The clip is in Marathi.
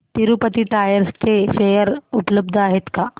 तिरूपती टायर्स चे शेअर उपलब्ध आहेत का